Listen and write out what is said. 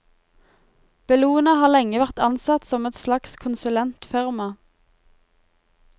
Bellona har lenge vært ansett som et slags konsulentfirma.